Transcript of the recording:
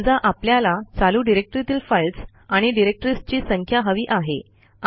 समजा आपल्याला चालू डिरेक्टरीतील फाईल्स आणि डिरेक्टरीजची संख्या हवी आहे